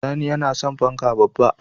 Sani yana son fanka babba